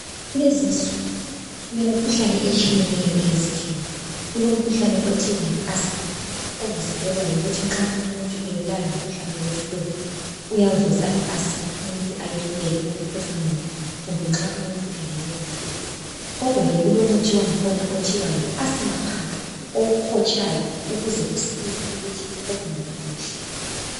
Kulezinsuku kulemikhuhlane etshiyeneyo eyesifuba. Kulomkhuhlane othiwa yi asthma ovuselelwa yikuthi nxa umuntu ebulawa ngumkhuhlane we flue uyavusa I asthma umuntu ayehluleke ukuphefumula. Kumbe nxa umuntu engenwe luthuli. Kodwa ke kulomuthi wangikhona othiwa yi asthma pump owuhotshayo ukuze usize ukuthi uphefumule kuhle.